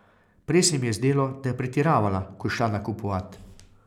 Prej se mi je zdelo, da je pretiravala, ko je šla nakupovat.